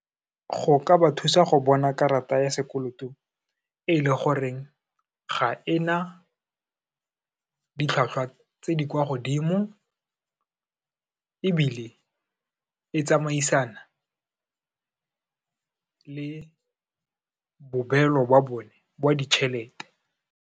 Go ka ba thusa go bona karata ya sekoloto e le goreng, ga ena ditlhwatlhwa tse di kwa godimo ebile e tsamaisana le bobelo ba bone ba ditšhelete.